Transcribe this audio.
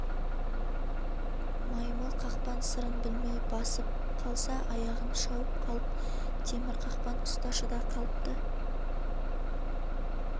маймыл қақпан сы-рын білмей басып қалса аяғын шауып қалып темір қақпан ұсташы да қалыпты